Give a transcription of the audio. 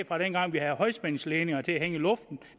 fra dengang vi havde højspændingsledninger til at hænge i luften